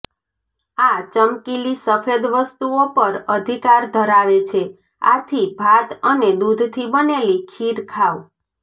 આ ચમકીલી સફેદ વસ્તુઓ પર અધિકાર ધરાવે છે આથી ભાત અને દૂધથી બનેલી ખીર ખાવ